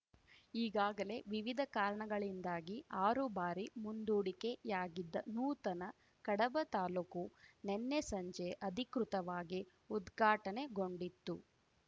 ಈಗಾಗಲೇ ವಿವಿಧ ಕಾರಣಗಳಿಂದಾಗಿ ಆರು ಬಾರಿ ಮುಂದೂಡಿಕೆಯಾಗಿದ್ದ ನೂತನ ಕಡಬ ತಾಲೂಕು ನಿನ್ನೆ ಸಂಜೆ ಅಧಿಕೃತವಾಗಿ ಉದ್ಘಾಟನೆಗೊಂಡಿತು